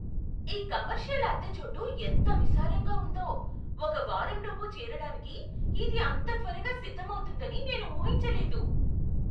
ఈ కమర్షియల్ అద్దె చోటు ఎంత విశాలంగా ఉందో! ఒక వారంలోపు చేరడానికి ఇది అంత త్వరగా సిద్ధమవుతుందని నేను ఊహించలేదు!